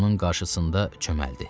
Onun qarşısında çöməldi.